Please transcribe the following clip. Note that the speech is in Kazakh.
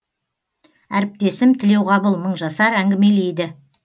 әріптесім тлеуғабыл мыңжасар әңгімелейді